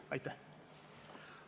Aitäh!